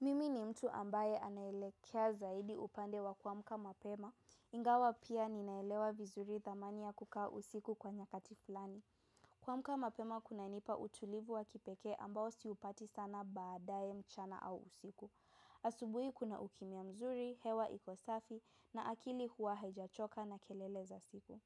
Mimi ni mtu ambaye anaelekea zaidi upande wa kuamka mapema. Ingawa pia ninaelewa vizuri thamani ya kukaa usiku kwa nyakati fulani. Kuamka mapema kunanipa utulivu wa kipekee ambao siupati sana baadae mchana au usiku. Asubuhi kuna ukimya mzuri, hewa iko safi na akili huwa haijachoka na kelele za siku.